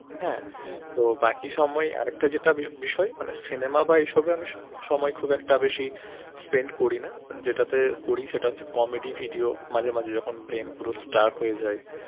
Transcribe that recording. হ্যাঁ তো বাকি সময় আরেকটা যেটা বিষ~ বিষয়, মানে cinema বা এই সবে আমি সম~ সময় খুব একটা বেশি spend করি না, যেটাতে করি সেটা হচ্ছে comedy video মাঝে মাঝে যখন brain পুরো stuck হয়ে যায়,